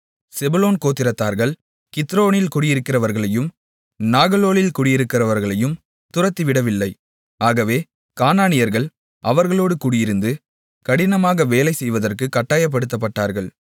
செபுலோன் கோத்திரத்தார்கள் கித்ரோனில் குடியிருக்கிறவர்களையும் நாகலோலில் குடியிருக்கிறவர்களையும் துரத்திவிடவில்லை ஆகவே கானானியர்கள் அவர்களோடு குடியிருந்து கடினமாக வேலை செய்வதற்குக் கட்டாயப்படுத்தப்பட்டார்கள்